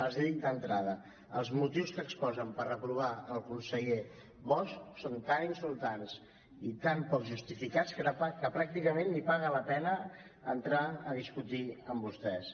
els hi dic d’entrada els motius que exposen per reprovar el conseller bosch són tan insultants i tan poc justificats que pràcticament ni paga la pena entrar a discutir amb vostès